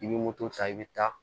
I bɛ moto ta i bɛ taa